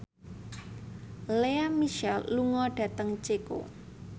Lea Michele lunga dhateng Ceko